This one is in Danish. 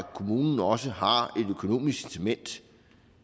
kommunen også har et økonomisk incitament